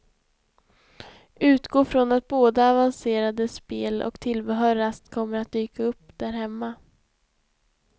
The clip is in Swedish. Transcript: Utgå från att både avancerade spel och tillbehör raskt kommer att dyka upp där hemma.